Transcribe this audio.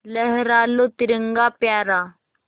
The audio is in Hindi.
लहरा लो तिरंगा प्यारा